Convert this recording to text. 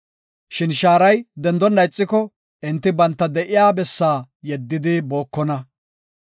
Shin shaaray dendonna ixiko, enti banta de7iya bessaa yeddidi bookona.